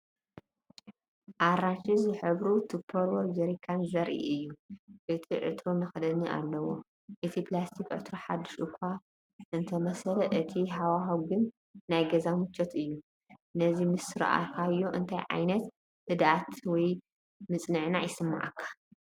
ኣራንሺ ዝሕብሩ ቱፐርዌር ጀርካን ዘርኢ እዩ። እቲ ዕትሮ መኽደኒ ኣለዎ፣ እዚ ፕላስቲክ ዕትሮ ሓድሽ እኳ እንተመሰለ፣ እቲ ሃዋህው ግን ናይ ገዛ ምቾት እዩ። ነዚ ምስ ረኣኻዮ እንታይ ዓይነት ህድኣት ወይ ምጽንናዕ ይስምዓካ፧